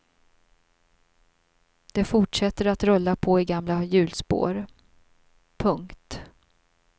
Det fortsätter att rulla på i gamla hjulspår. punkt